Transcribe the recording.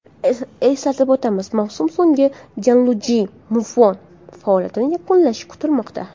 Eslatib o‘tamiz, mavsum so‘ngida Janluiji Buffon faoliyatini yakunlashi kutilmoqda.